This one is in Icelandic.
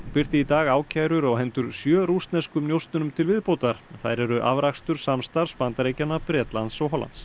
birti í dag ákærur á hendur sjö rússneskum njósnurum til viðbótar þær eru afrakstur samstarfs Bandaríkjanna Bretlands og Hollands